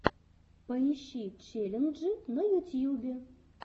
поищи челленджи на ютьюбе